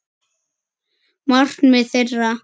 Markmið þeirra.